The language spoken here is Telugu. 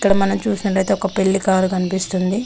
ఇక్కడ మనం చూసినట్లయితే పెళ్ళికారు కనిపిస్తుంది.